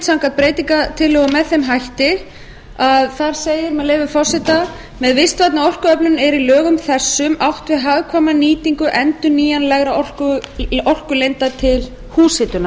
skilgreind samkvæmt breytingatillögum með þeim hætti að þar segir með leyfi forseta með vistvænni orkuöflun er í lögum þessum átt við hagkvæma nýtingu endurnýjanlegra orkulinda til húshitunar